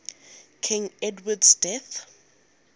king edward's death